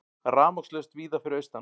Rafmagnslaust víða fyrir austan